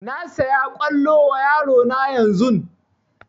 Na saya kwallo wa yaro na yanzun